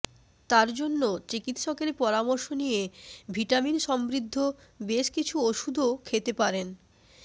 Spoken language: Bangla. তার জন্য চিকিত্সকের পরামর্শ নিয়ে ভিটামিন সমৃদ্ধ বেশ কিছু ওষুধও খেতে পারেন